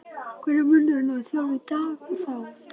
Hver er munurinn á að þjálfa í dag og þá?